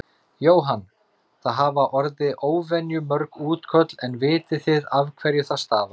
Jóhann: Það hafa orði óvenju mörg útköll en vitið þið af hverju það stafar?